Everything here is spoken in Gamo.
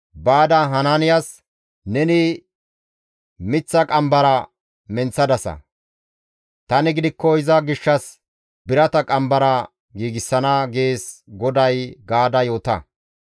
«Baada Hanaaniyas, ‹Neni miththa qambara menththadasa; tani gidikko iza gishshas birata qambara giigsana› gees GODAY gaada yoota.